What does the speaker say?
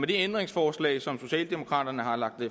ændringsforslag som socialdemokraterne har lagt